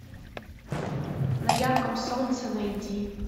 на ярком солнце найди